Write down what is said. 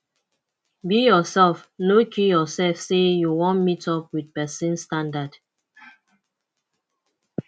be yourself no kill yourself say you won meet up with persin standard